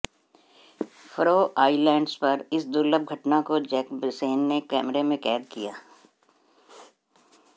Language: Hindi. फरो आइलैंड्स पर इस दुर्लभ घटना को जैकबसेन ने कैमरे में कैद किया